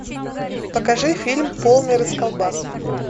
покажи фильм полный расколбас